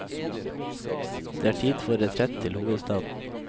Det er tid for retrett til hovedstaden.